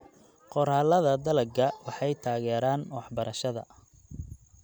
Qoraallada dalagga waxay taageeraan waxbarashada.